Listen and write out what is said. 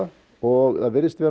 og það virðist vera